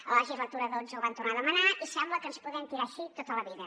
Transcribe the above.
a la legislatura xii ho van tornar a demanar i sembla que ens podem tirar així tota la vida